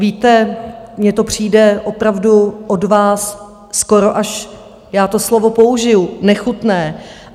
Víte, mně to přijde opravdu od vás skoro až - já to slovo použiju - nechutné.